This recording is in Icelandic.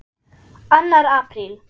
ANNAR APRÍL